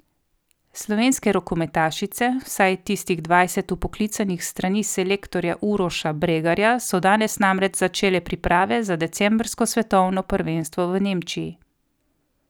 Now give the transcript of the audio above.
Slovenske rokometašice, vsaj tistih dvajset vpoklicanih s strani selektorja Uroša Bregarja, so danes namreč začele priprave za decembrsko svetovno prvenstvo v Nemčiji.